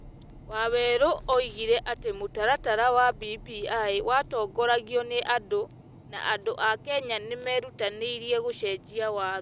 Wawerũ oigire atĩ mũtaratara wa BBI watongoragio nĩ andũ na andũ a Kenya nĩ merutanĩirie gũcenjia Watho ,